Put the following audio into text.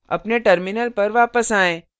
अपने terminal पर वापस आएँ